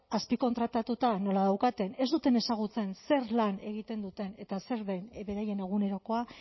azpikontratatuta nola daukaten ez duten ezagutzen zer lan egiten duten eta zer den beraien egunerokoa